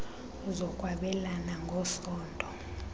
zokwabelana ng esondo